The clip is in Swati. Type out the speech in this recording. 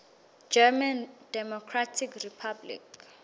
german democratic republic